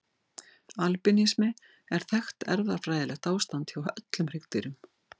Albínismi er þekkt erfðafræðilegt ástand hjá öllum hryggdýrum.